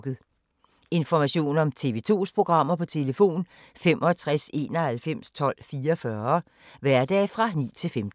Information om TV 2's programmer: 65 91 12 44, hverdage 9-15.